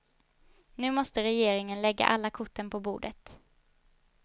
Nu måste regeringen lägga alla korten på bordet.